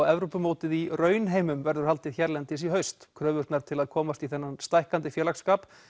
Evrópumótið í raunheimum verður haldið hérlendis í haust kröfurnar til að komast í þennan stækkandi félagsskap